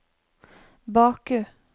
Baku